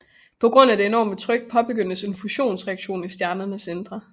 På grund af det enorme tryk påbegyndes en fusionsreaktion i stjernens indre